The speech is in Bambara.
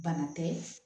Bana tɛ